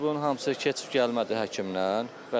Bunun hamısı keçib gəlmədi həkimdən.